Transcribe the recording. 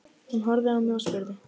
Hún horfði á mig og spurði